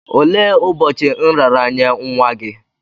Olee ụbọchị nraranye nwa gị?